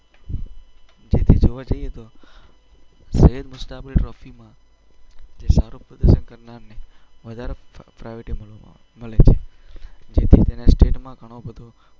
જેથી જોવા જઈએ તો સૈયદ મુસ્તાક અલી ટ્રોફીમાં જે સારું પ્રદર્શન કરનારને વધારે પ્રાય અમ પ્રાયોરિટી મળે છે. જેથી તેને સ્ટેટમાં ઘણો બધો ફાયદો મળે છે.